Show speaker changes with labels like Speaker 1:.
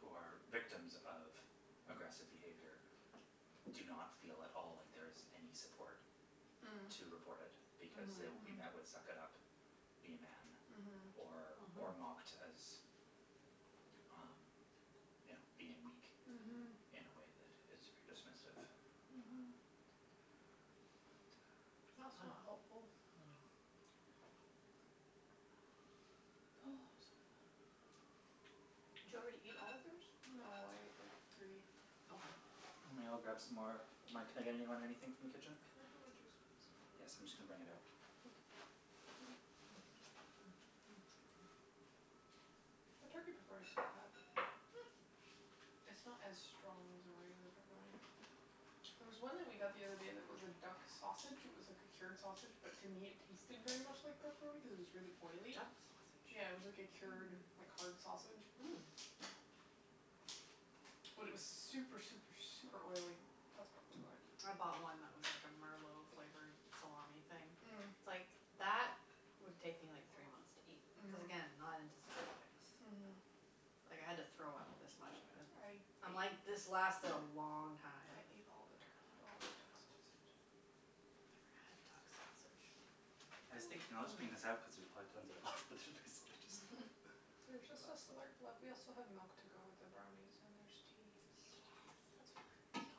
Speaker 1: who are victims of aggressive behavior do not feel at all like there is any support to report it because they will be met with "suck it up", "be a man" or or mocked as um you know being weak in a way that is very dismissive.
Speaker 2: Mhm.
Speaker 1: But uh.
Speaker 2: That's not helpful. Oh, I'm so full.
Speaker 3: Did you already eat all of yours?
Speaker 2: No, I ate like three.
Speaker 3: Okay.
Speaker 1: I'm going to go grab some more of mine. Can I get anybody anything from the
Speaker 2: Can
Speaker 1: kitchen?
Speaker 2: I have more juice, please?
Speaker 1: Yes, I'm just going to bring it out.
Speaker 2: Thank you. The turkey pepperoni's not bad.
Speaker 3: Mm.
Speaker 2: It's not as strong as a regular pepperoni. There was one that we got the other day that was a duck sausage, it was like a cured sausage, but to me it tasted very much like pepperoni cuz it was really oily.
Speaker 3: Duck
Speaker 2: Yeah, it was
Speaker 3: sausage?
Speaker 2: like a cured
Speaker 4: Mm.
Speaker 2: like hard sausage.
Speaker 3: Mm.
Speaker 2: But it was super, super, super oily. That's probably why.
Speaker 3: I bought one that was like a merlot flavored salami thing.
Speaker 2: Mm.
Speaker 3: It's like that would take me like three months to eat cuz again, not into salty things.
Speaker 2: Mm.
Speaker 3: Like, I had to throw out this much of it. I'm
Speaker 2: I
Speaker 3: like
Speaker 2: ate.
Speaker 3: this lasted a long time.
Speaker 2: I ate all the turkey, all the duck sausage.
Speaker 4: I never had duck sausage.
Speaker 1: I was thinking I'll just bring this out cuz there's probably tons of it left, but there's basically
Speaker 2: There's
Speaker 1: just a
Speaker 2: just a
Speaker 1: glass left.
Speaker 2: slurp left. We also have milk to go with the brownies, and there's tea. That's
Speaker 3: Yes.
Speaker 2: fine.
Speaker 3: You are a genius,